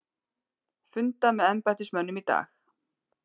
Funda með embættismönnum í dag